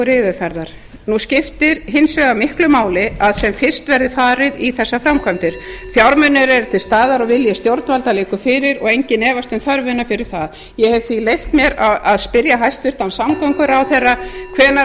seinlegur yfirferðar nú skiptir hins vegar miklu máli að sem fyrst verði farið í þessar framkvæmdir fjármunir eru til staðar og vilji stjórnvalda liggur fyrir og enginn efast um þörfina fyrir það ég hef því leyft mér að spyrja hæstvirtan samgönguráðherra hvenær